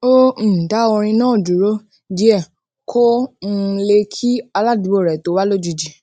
ó um dá orin náà dúró díè kó um lè kí aládùúgbò rè tó wá lójijì